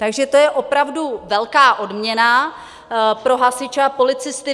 Takže to je opravdu velká odměna pro hasiče a policisty.